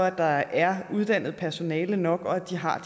at der er uddannet personale nok og at de har